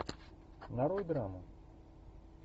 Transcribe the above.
нарой драму